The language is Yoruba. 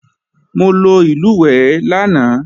Mo lo ìlùwẹ̀ẹ̀ lánàá